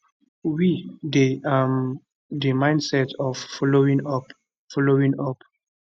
we dey um di midst of following up following up